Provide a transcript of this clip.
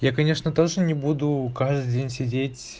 я конечно тоже не буду каждый день сидеть